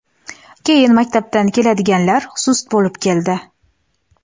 keyin maktabdan keladiganlar sust bo‘lib keldi.